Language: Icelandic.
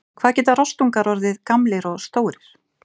Hvað geta rostungar orðið gamlir og stórir?